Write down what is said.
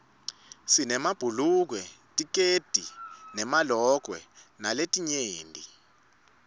sinemabhulukwe tikedi nemalokwe naletinye